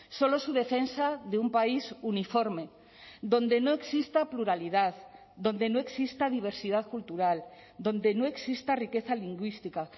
solo su defensa de un país uniforme donde no exista pluralidad donde no exista diversidad cultural donde no exista riqueza lingüística